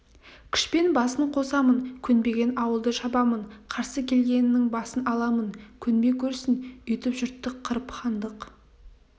күшпен басын қосамын көнбеген ауылды шабамын қарсы келгенінің басын аламын көнбей көрсін өйтіп жұртты қырып хандық